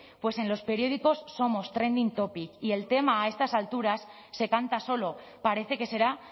pues en los periódicos somos trending topic y el tema a estas alturas se canta solo parece que será